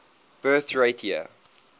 birth rate year